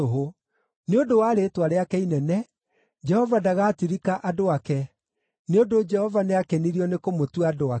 Nĩ ũndũ wa rĩĩtwa rĩake inene, Jehova ndagatirika andũ ake, nĩ ũndũ Jehova nĩakenirio nĩ kũmũtua andũ ake.